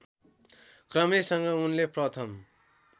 क्रमैसँग उनले प्रथम